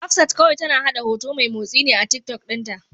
Hafsat kawai tana haɗa hoto mai motsi ne a Tiktok ɗinta.